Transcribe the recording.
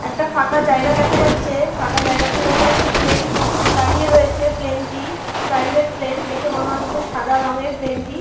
একটা ফাঁকা জায়গা দেখা যাচ্ছে ফাঁকা জায়গাটির উপর একটি প্লেন দাঁড়িয়ে রয়েছে প্লেন -টি প্রাইভেট প্লেন দেখে মনে হচ্ছে সাদা রংয়ের প্লেন -টি--